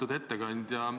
Lugupeetud ettekandja!